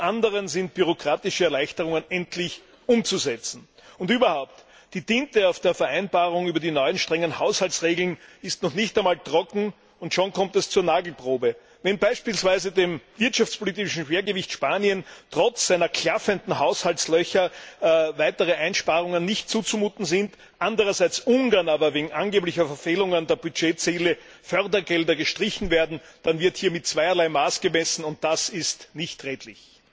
Zum anderen sind bürokratische Erleichterungen endlich umzusetzen. Und überhaupt Die Tinte auf der Vereinbarung über die neuen strengen Haushaltsregeln ist noch nicht einmal trocken, und schon kommt es zur Nagelprobe. Wenn beispielsweise dem wirtschaftlichen Schwergewicht Spanien trotz seiner klaffenden Haushaltslöcher weitere Einsparungen nicht zuzumuten sind, andererseits Ungarn aber wegen angeblicher Verfehlungen der Budgetziele Fördergelder gestrichen werden, dann wird hier mit zweierlei Maß gemessen, und das ist nicht redlich.